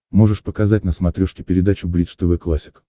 можешь показать на смотрешке передачу бридж тв классик